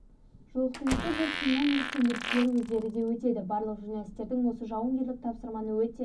жолақтан өту бұл сыннан өрт сөндірушілер өздері де өтеді барлық журналистердің осы жауынгерлік тапсырманы өте